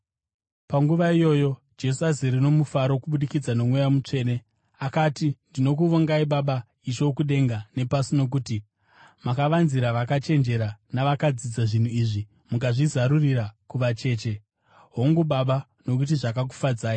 Panguva iyoyo Jesu azere nomufaro kubudikidza noMweya Mutsvene, akati, “Ndinokuvongai, Baba, Ishe wokudenga nepasi, nokuti makavanzira vakachenjera navakadzidza zvinhu izvi, mukazvizarurira kuvacheche. Hongu, Baba nokuti zvakakufadzai.